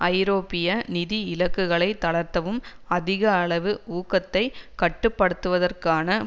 ஐரோப்பிய நிதி இலக்குகளை தளர்த்தவும் அதிக அளவு ஊகத்தை கட்டு படுத்துவதற்கான